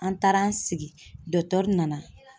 An taara an sigi nana